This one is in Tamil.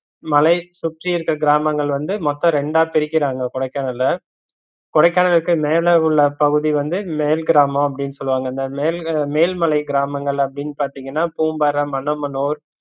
மலை சுற்றியிருக்கிற கிராமங்கள் வந்து மொத்தம் ரெண்டா பிரிகிறாங்க கொடைக்கானல்ல கொடைக்கானலுக்கு மேல உள்ள பகுதி வந்து மேல் கிராமம் அப்படின்னு சொல்லுவாங்க இந்த மேல்~ மேல்மலை கிராமங்கள் அப்படின்னு பாத்திங்கன்னா பூம்பாரை, மன்னமனூர்